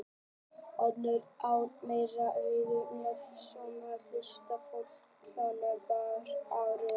Önnur ár er reiknað með sömu hlutfallslegu fólksfjölgun og var í raun.